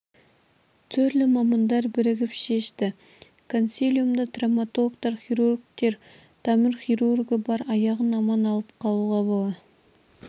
түрлі мамандар бірігіп шешті консилиумда травматологтар хирургтер тамыр хирургі бар аяғын аман алып қалуға бола